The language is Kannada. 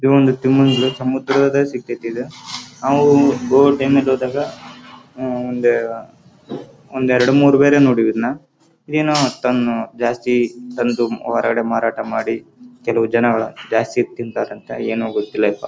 ಈ ಚಿತ್ರದಲ್ಲಿ ಕಾಣಿಸುತ್ತಿರುವುದು ಎಂಜಲ ಫಿಶ್ ಈ ಫಿಶ್ ಅನ್ನು ಸಮುದ್ರದಿಂದ ಹಿಡಿದಿರುತ್ತಾರೆ.